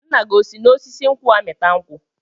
Nna gị o si n'osisi nkwụ amịta nkwụ?